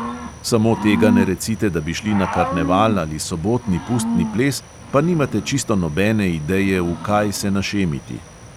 Samo tega ne recite, da bi šli na karneval ali sobotni pustni ples, pa nimate čisto nobene ideje, v kaj se našemiti.